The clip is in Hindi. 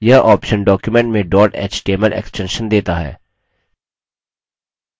यह option document में dot html extension देता है